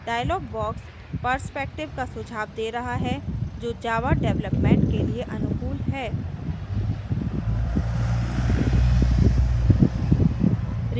dialog box perspective का सुझाव the रहा है जो java development के लिए अनुकूल है